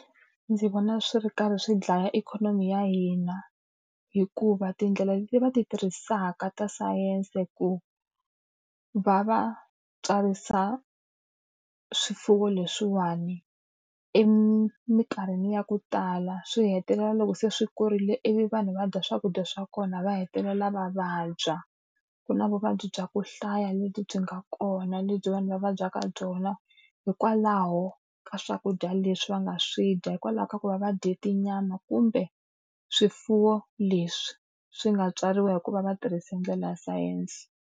Ndzi vona swi ri karhi swi dlaya ikhonomi ya hina, hikuva tindlela leti va ti tirhisaka ta science ku va va tswarisa swifuwo leswiwani, eminkarhini ya ku tala swi hetelela loko se swi kurile ivi vanhu va bya swakudya swa kona va hetelela va vabya. Ku na vuvabyi bya ku hlaya leti byi nga kona lebyi vanhu va vabyaka byona hikwalaho ka swakudya leswi va nga swi dya. Hikwalaho ka ku va va dye tinyama kumbe swifuwo leswi swi nga tswariwa hi ku va va tirhise ndlela ya sayense.